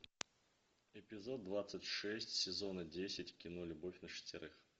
эпизод двадцать шесть сезона десять кино любовь на шестерых